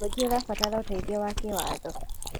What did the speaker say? Mũingĩ ũrabatara ũteithio wa kĩwatho.